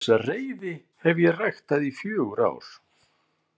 Þessa reiði hef ég ræktað í fjögur ár.